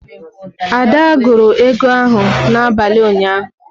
Ada gụrụ ego ahụ n'abalị ụnyaahụ.